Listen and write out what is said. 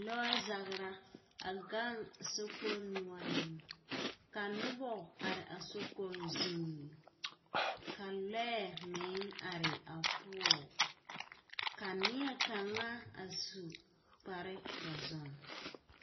Lɔɔzagera, a gaŋ sokoɔraa zuŋ, ka nobɔ are a sokoɔraa zuŋ, ka lɔɛ meŋ are a sokpoŋ zuŋ, ka neɛkaŋa yare kpare……